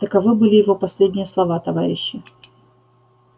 таковы были его последние слова товарищи